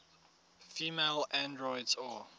female androids or